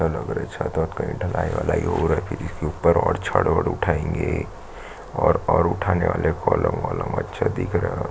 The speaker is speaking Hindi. लग रहे छत वत कही ढलाई वलायी हो रहे फिर इसके ऊपर और छड़ वड़ उठाएंगे और और उठाने वाले कॉलम वोलम अच्छा दिख रहा --